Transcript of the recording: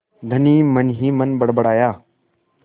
धनी मनहीमन बड़बड़ाया